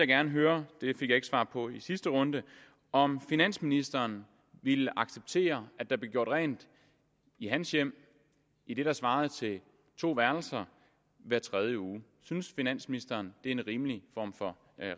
gerne høre det fik jeg ikke svar på i sidste runde om finansministeren ville acceptere at der blev gjort rent i hans hjem i det der svarer til to værelser hver tredje uge synes finansministeren det en rimelig form for